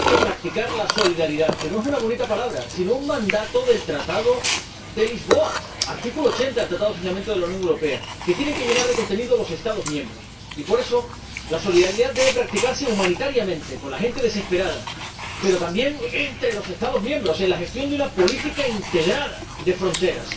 Hay que practicar la solidaridad, que no es una bonita palabra, sino un mandato del Tratado de Lisboa ―artículo 80 del Tratado de Funcionamiento de la Unión Europea― que tienen que llenar de contenido los Estados miembros y, por eso, la solidaridad debe practicarse humanitariamente con la gente desesperada, pero también entre los Estados miembros en la gestión de una política integrada de fronteras.